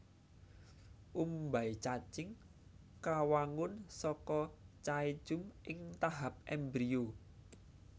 Umbai cacing kawangun saka caecum ing tahap embrio